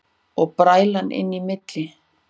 Og bræla inn í milli.